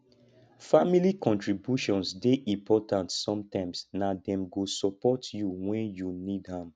family contributions dey important sometimes na dem go support you wen you need am